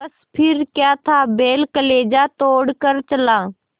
बस फिर क्या था बैल कलेजा तोड़ कर चला